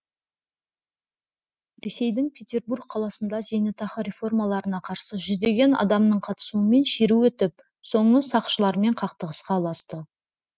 ресейдің петербург қаласында зейнетақы реформаларына қарсы жүздеген адамның қатысуымен шеру өтіп соңы сақшылармен қақтығысқа ұласты